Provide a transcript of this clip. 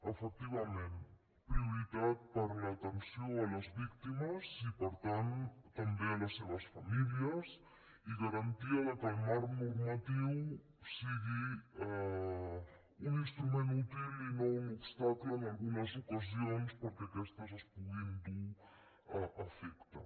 efectivament prioritat per a l’atenció a les víctimes i per tant també a les seves famílies i garantia que el marc normatiu sigui un instrument útil i no un obstacle en algunes ocasions perquè aquestes es puguin dur a efecte